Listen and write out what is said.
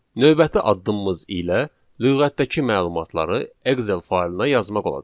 Növbəti addımımız ilə lüğətdəki məlumatları Excel faylına yazmaq olacaq.